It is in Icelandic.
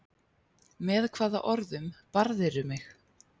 Með hvaða orðum barðirðu mig?